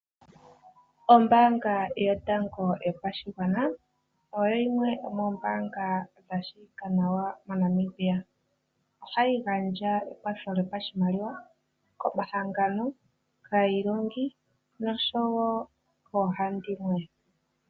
Ombaanga yotango yopashigwana oyo yimwe yomoombaanga dha shiwikwa nawa moNamibia. Ohayi gandja ekwatho lyopashimaliwa komahangano, kaa iilongi noshowo koohandimwe.